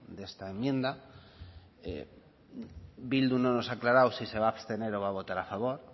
de esta enmienda bildu no nos ha aclarado si se va a abstener o va a votar a favor